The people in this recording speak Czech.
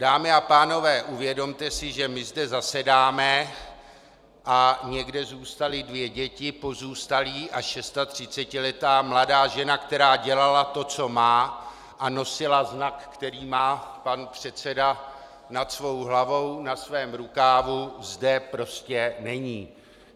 Dámy a pánové, uvědomte si, že my zde zasedáme, a někde zůstaly dvě děti, pozůstalí a 36letá mladá žena, která dělala to, co má, a nosila znak, který má pan předseda nad svou hlavou, na svém rukávu, zde prostě není.